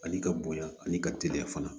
Ani ka bonya ani ka teliya fana